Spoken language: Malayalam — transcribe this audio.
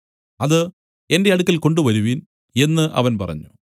അത് എന്റെ അടുക്കൽ കൊണ്ടുവരുവിൻ എന്നു അവൻ പറഞ്ഞു